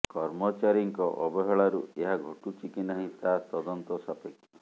କର୍ମଚାରୀଙ୍କ ଅବହେଳାରୁ ଏହା ଘଟୁଛି କି ନାହିଁ ତାହା ତଦନ୍ତ ସାପେକ୍ଷ